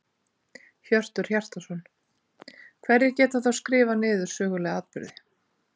Hjörtur Hjartarson: Hverjir geta þá skrifað niður sögulega atburði?